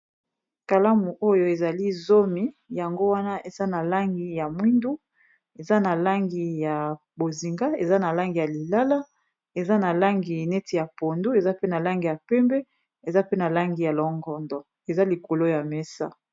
kalamu oyo ezali zomi yango wana eza na langi ya mwindu eza na langi ya bozinga eza na langi ya lilala eza na langi neti ya pondu eza pe na langi ya pembe eza pe na langi ya longondo eza likolo ya mesa